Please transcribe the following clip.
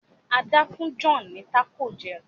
Ada fún John ní Taco jé